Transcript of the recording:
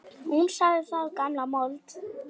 Hún sagði það gamla mold.